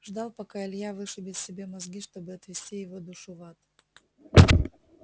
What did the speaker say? ждал пока илья вышибет себе мозги чтобы отвести его душу в ад